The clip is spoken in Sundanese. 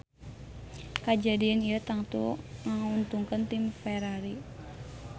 Kajadian ieu tangtu nguntungkeun tim Ferrari